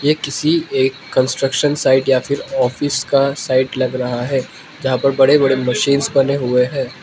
ये किसी एक कंस्ट्रक्शन साइट या फिर ऑफिस का साइट लग रहा है जहां पर बड़े बड़े मशीन्स बने हुए हैं।